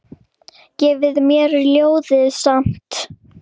Gefur mér ljóðið samt.